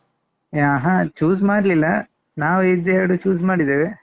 ಆಹಾ choose ಮಾಡ್ಲಿಲ್ಲ ನಾವು ಇದೆರಡು choose ಮಾಡಿದ್ದೇವೆ.